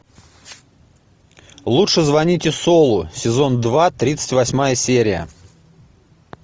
лучше звоните солу сезон два тридцать восьмая серия